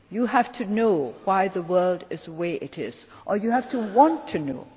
You have to know why the world is the way it is, or you have to want to know.